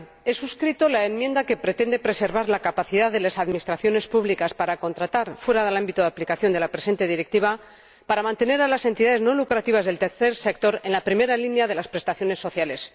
Señora Presidenta, he suscrito la enmienda que pretende preservar la capacidad de las administraciones públicas para contratar fuera del ámbito de aplicación de la presente Directiva para mantener a las entidades no lucrativas del tercer sector en la primera línea de las prestaciones sociales.